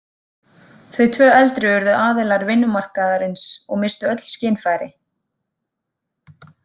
Þau tvö eldri urðu aðilar vinnumarkaðarins og misstu öll skynfæri.